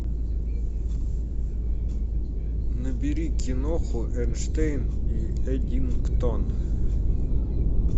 набери киноху эйнштейн и эддингтон